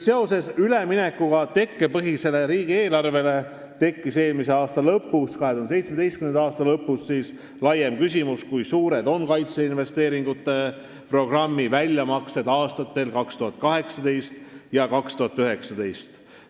Seoses üleminekuga tekkepõhisele riigieelarvele tekkis eelmise, 2017. aasta lõpus laiem küsimus, kui suured on kaitseinvesteeringute programmi väljamaksed aastatel 2018 ja 2019.